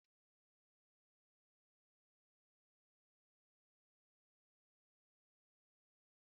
Mgbe anyanwụ dara, anyị gafere n’obodo nta ahụ jupụtara n’abụ ndị mmadụ.